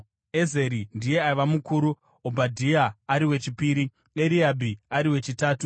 Ezeri ndiye aiva mukuru, Obhadhia ari wechipiri, Eriabhi ari wechitatu,